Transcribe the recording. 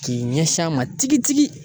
K'i ɲɛsin a ma tigi tigi